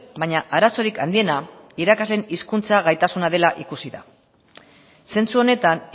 baina arazorik handiena irakasleen hizkuntza gaitasuna dela ikusi da zentzu honetan